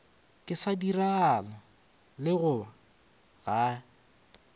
ka se direlago lekgoba ge